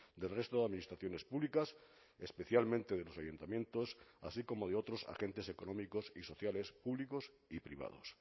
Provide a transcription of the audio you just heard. del resto de administraciones públicas especialmente de los ayuntamientos así como de otros agentes económicos y sociales públicos y privados